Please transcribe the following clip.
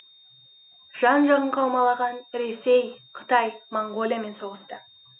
жан жағын қаумалаған ресей қытай моңғолиямен соғысты